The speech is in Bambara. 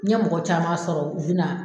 N ye mɔgɔ caman sɔrɔ u bi na